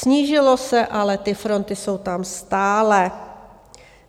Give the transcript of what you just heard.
Snížilo se, ale ty fronty jsou tam stále.